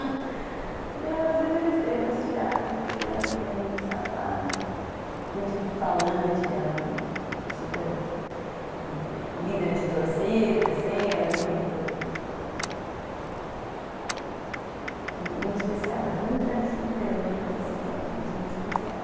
E às vezes eles têm umas tiradas, assim, ela também é muito safada, muito falante, ela é super, eh, líder de torcida, assim, ela é muito... Muito especial, são meus, né, mas assim, eu acho eles muito especiais.